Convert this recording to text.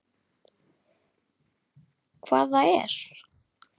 Hvað það er?